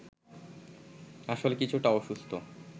আসলে কিছুটা অসুস্থ